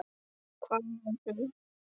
hváði hún.